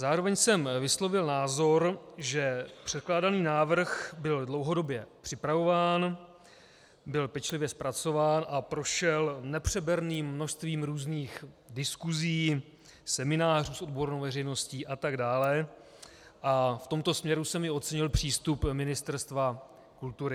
Zároveň jsem vyslovil názor, že předkládaný návrh byl dlouhodobě připravován, byl pečlivě zpracován a prošel nepřeberným množstvím různých diskusí, seminářů s odbornou veřejností atd., a v tomto směru jsem i ocenil přístup Ministerstva kultury.